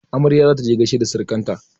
Amarya za ta je gaishe da surukan ta.